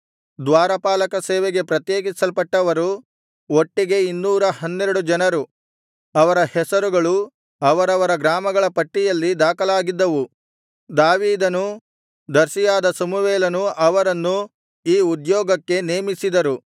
ದ್ವಾರಪಾಲಕ ಸೇವೆಗೆ ಪ್ರತ್ಯೇಕಿಸಲ್ಪಟ್ಟವರು ಒಟ್ಟಿಗೆ ಇನ್ನೂರ ಹನ್ನೆರಡು ಜನರು ಅವರ ಹೆಸರುಗಳು ಅವರವರ ಗ್ರಾಮಗಳ ಪಟ್ಟಿಯಲ್ಲಿ ದಾಖಲಾಗಿದ್ದವು ದಾವೀದನೂ ದರ್ಶಿಯಾದ ಸಮುವೇಲನೂ ಅವರನ್ನು ಈ ಉದ್ಯೊಗಕ್ಕೆ ನೇಮಿಸಿದರು